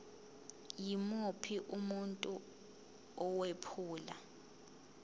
yimuphi umuntu owephula